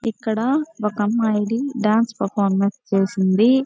ఇక్కడ ఒక అమ్మాయి డాన్స్ పర్ఫామెన్స్ చేసింది.